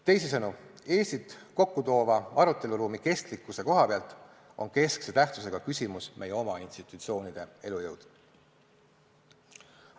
Teisisõnu, Eestit kokku toova aruteluruumi kestlikkuse koha pealt on keskse tähtsusega küsimus meie oma institutsioonide elujõud.